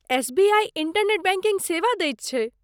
SBI internet banking सेवा दैत छै।